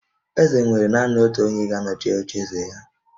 Eze nwere naanị otu onye ga-anọchi ocheeze ya